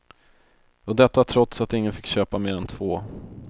Och detta trots att ingen fick köpa mer än två.